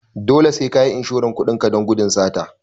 Dole sai kayi inshoran kudin ka don gudun sata